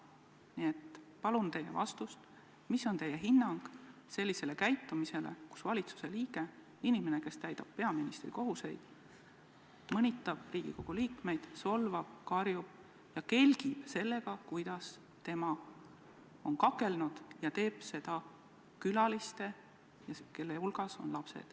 Nii et palun teilt vastust, milline on teie hinnang sellele, et inimene, kes täidab peaministri kohustusi, mõnitab Riigikogu liikmeid, solvab, karjub ja kelgib sellega, kuidas tema on kakelnud, ja teeb seda külaliste ees, kelle hulgas on ka lapsed.